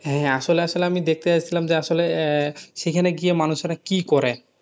হ্যাঁ, আসলে আসলে আমি দেখতে চাচ্ছিলাম যে আসলে আহ সেখানে গিয়ে মানুষেরা কি করে?